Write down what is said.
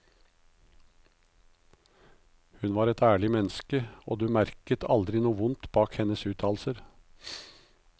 Hun var et ærlig menneske, og du merket aldri noe vondt bak hennes uttalelser.